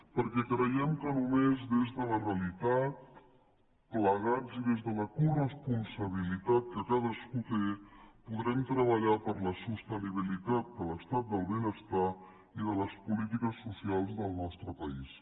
perquè creiem que només des de la realitat plegats i des de la coresponsabilitat que cadascú té podrem treballar per la sostenibilitat de l’estat del benestar i de les polítiques socials del nostre país